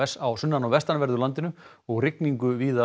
á sunnan og vestanverðu landinu og rigningu víða